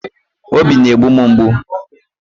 Obi na-egbu m mgbu.